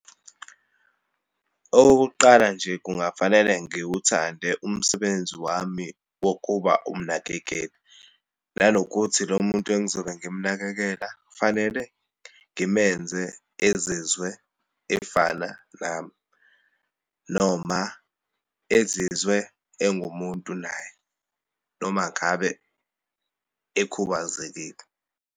Okokuqala nje, kungafanele ngiwuthande umsebenzi wami wokuba umnakekeli, nanokuthi lo muntu engizobe ngimnakekela fanele ezizwe efana nami, noma ezizwe engumuntu naye, noma ngabe ekhubazekile.